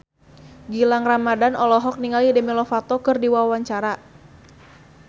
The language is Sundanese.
Gilang Ramadan olohok ningali Demi Lovato keur diwawancara